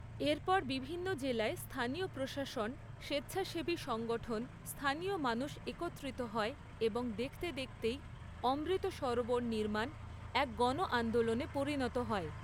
এরপর বিভিন্ন জেলায় স্থানীয় প্রশাসন, স্বেচ্ছাসেবী সংগঠন, স্থানীয় মানুষ একত্রিত হয়, এবং দেখতে দেখতেই অমৃত সরোবর নির্মাণ এক গণআন্দোলনে পরিণত হয়।